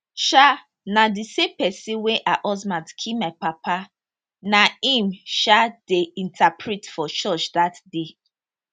um na di same pesin wey her husband kill my papa na im um dey interpret for church dat day